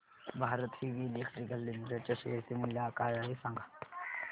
Bharat heavy electricals limited च्या share चे मूल्य काय आहे सांगा